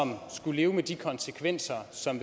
skulle leve med de konsekvenser som